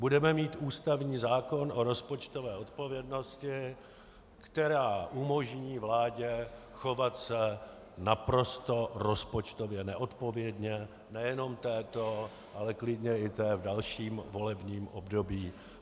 Budeme mít ústavní zákon o rozpočtové odpovědnosti, která umožní vládě chovat se naprosto rozpočtově neodpovědně - nejenom této, ale klidně i té v dalším volebním období.